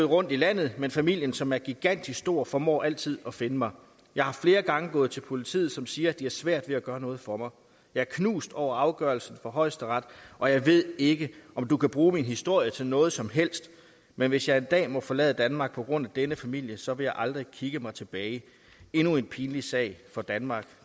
rundt i landet men familien som er gigantisk stor formår altid at finde mig jeg er flere gange gået til politiet som siger at de har svært ved at gøre noget for mig jeg er knust over afgørelsen fra højesteret og jeg ved ikke om du kan bruge min historie til noget som helst men hvis jeg en dag må forlade danmark på grund af denne familie så vil jeg aldrig kigge mig tilbage endnu en pinlig sag for danmark